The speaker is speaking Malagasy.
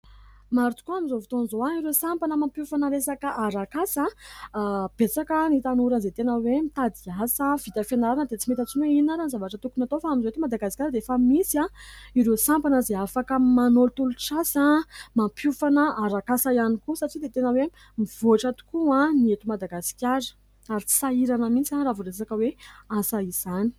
Mary tokoa amin'izao votoan'izao ahy ireo sampana mampiofana resaka arakasa besaka ny tanora izay tena hoe mitady asa vita fianarana dia tsy mety atsino ionara ny zavatra tokony atao fa amin'izao eto madagaskara dia efa misy aho ireo sampana izay afaka manolotolo-tsasa mampiofana arakasa ihany koa satsia dia tena hoe mivoatra tokoa aho ny eto madagaskara ary tsy sahirana mitsy ahy ra voresaka hoe asa izany